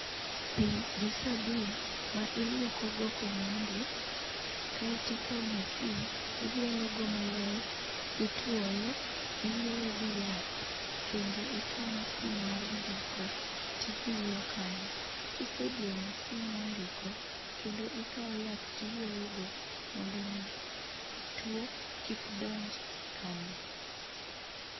Pi gi sabun ma ilwokogo komondi. Keato ikawo masin ilielogo maler, itwoyo, iyweyo gi yath, kendo ikawo masin mar ndiko tidiyo kanyo. Kisediyo masin mondiko, kendo ikawo yath tiyweyogo, mondo omi tuo kik donj kanyo.